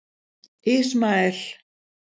Ismael